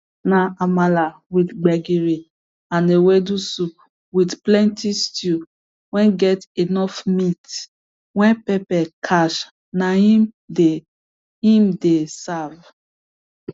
na amala with gbegiri and ewedu soup with plenty stew wey get enough meat wey pepper catch na im dey im dey serve